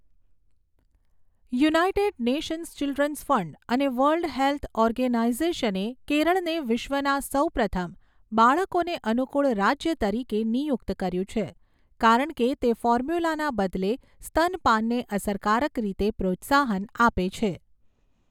United Nations Children's Fund અને World Health ઓર્ગેનાઈઝેશને કેરળને વિશ્વના સૌપ્રથમ "બાળકોને અનુકૂળ રાજ્ય" તરીકે નિયુક્ત કર્યું છે, કારણ કે તે ફોર્મ્યુલાના બદલે સ્તનપાનને અસરકારક રીતે પ્રોત્સાહન આપે છે.